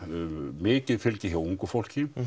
mikið fylgi hjá ungu fólki